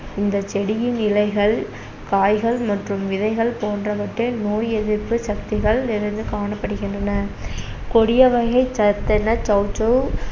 இந்த செடியின் இலைகள், காய்கள் மற்றும் விதைகள் போன்றவற்றில் நோய்யெதிர்ப்பு சக்திகள் நிறைந்து காணப்படுகின்றன கொடியவகைச் சத்தென சௌசௌ